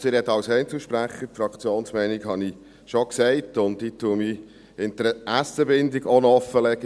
Also, ich rede als Einzelsprecher, die Fraktionsmeinung habe ich schon gesagt, und ich lege auch noch meine Interessenbindung offen: